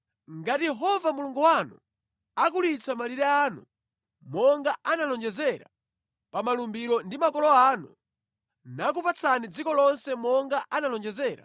Ngati Yehova Mulungu wanu akulitsa malire anu monga analonjezera pa malumbiro ndi makolo anu, nakupatsani dziko lonse monga analonjezera,